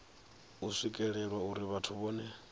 u swikelelwa uri vhathu vhohe